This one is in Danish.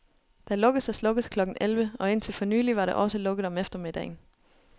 Der lukkes og slukkes klokken elleve, og indtil for nylig var der også lukket om eftermiddagen.